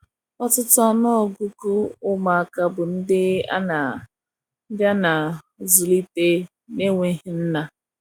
ọtụtụ ọnụ ọgugu ụmụ aka bụ ndi ana ndi ana azulite na nweghi nna